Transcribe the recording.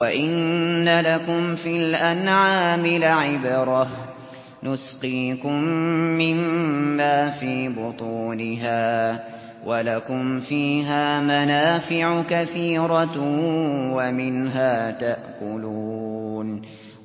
وَإِنَّ لَكُمْ فِي الْأَنْعَامِ لَعِبْرَةً ۖ نُّسْقِيكُم مِّمَّا فِي بُطُونِهَا وَلَكُمْ فِيهَا مَنَافِعُ كَثِيرَةٌ وَمِنْهَا تَأْكُلُونَ